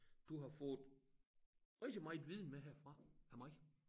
Du har fået rigtig meget viden med herfra af mig